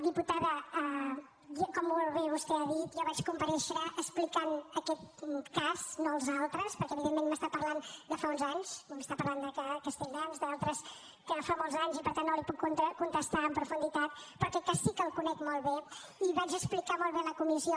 diputada com molt bé vostè ha dit jo vaig comparèixer explicant aquest cas no els altres perquè evidentment m’està parlant de fa uns anys m’està parlant de castelldans d’altres que fa molts anys i per tant no li puc contestar amb profunditat però aquest cas sí que el conec molt bé i ho vaig explicar molt bé a la comissió